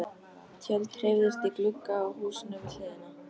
Tjöld hreyfðust í glugga á húsinu við hliðina.